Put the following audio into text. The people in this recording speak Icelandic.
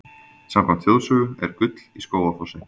Samkvæmt þjóðsögu er gull í Skógafossi.